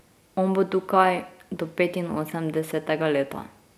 On bo tukaj do petinosemdesetega leta.